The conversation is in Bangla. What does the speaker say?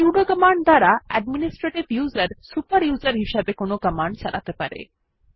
সুদো কমান্ড দ্বারা অ্যাডমিনিস্ট্রেটিভ ইউজার সুপার ইউজার হিসেবে কোনো কমান্ড চালাতে পারে